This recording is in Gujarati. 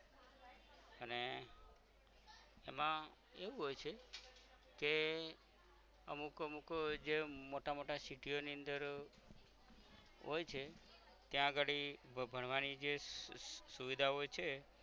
એમા એવું હોય છે કે અમુક અમુક જે મોટા મોટા city યો ની અંદર હોય છે ત્યાં અગાળી ભણવાની જે સુવિધા હોય છે